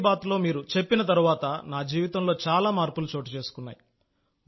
మన్ కీ బాత్లో ప్రస్తావించిన తర్వాత నా జీవితంలో చాలా మార్పులు చోటుచేసుకున్నాయి